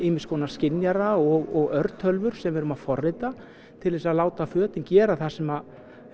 ýmis konar skynjara og örtölvur sem við erum að forrita til þess að láta fötin gera það sem